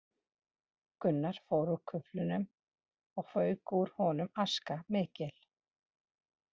Gunnar fór úr kuflinum og fauk úr honum aska mikil